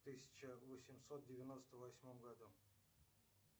тысяча восемьсот девяносто восьмом году